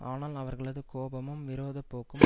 ஆனால் அவர்களது கோபமும் விரோத போக்கும்